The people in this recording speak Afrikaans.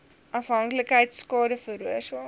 afhanklikheid skade veroorsaak